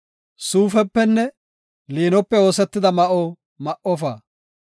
Suufepenne liinope oosetida ma7o ma7ofa.